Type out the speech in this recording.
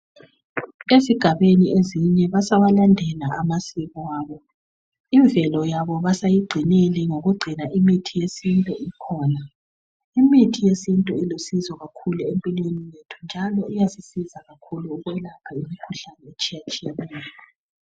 Ezigabeni ezinye basawalndela amasiko abo, imvelo yabo basayigcinile ngokugcina imithi yesintu ikhona. Imithi yesintu ilusizo kakhulu empilweni zethu njalo iyasisiza kakhulu ukwelapha imikhuhlane etshiyatshiyeneyo